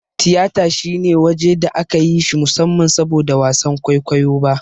Tiyata shine waje da aka yi shi musamman saboda wasan kwaikwayo ba.